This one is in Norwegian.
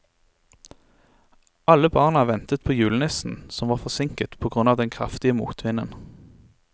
Alle barna ventet på julenissen, som var forsinket på grunn av den kraftige motvinden.